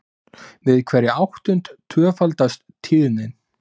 við hverja áttund tvöfaldast tíðnin